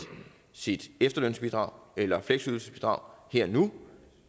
sit efterlønsbidrag eller fleksydelsesbidrag her og nu